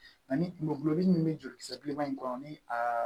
Ani tulo gulɔmin min bɛ jolikisɛ bileman in kɔnɔ ni a